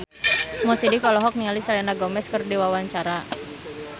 Mo Sidik olohok ningali Selena Gomez keur diwawancara